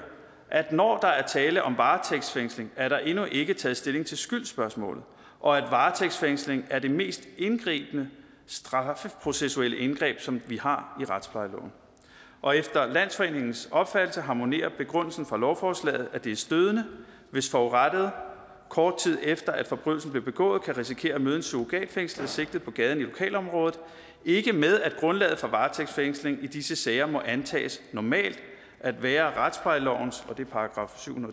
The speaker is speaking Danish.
at når der er tale om varetægtsfængsling er der endnu ikke taget stilling til skyldsspørgsmålet og at varetægtsfængsling er det mest indgribende straffeprocessuelle indgreb som vi har i retsplejeloven og efter landsforeningens opfattelse harmonerer begrundelsen for lovforslaget nemlig at det er stødende hvis forurettede kort tid efter at forbrydelsen blev begået kan risikere at møde en surrogatfængslet sigtet på gaden i lokalområdet ikke med at grundlaget for varetægtsfængslingen i disse sager må antages normalt at være retsplejelovens § syv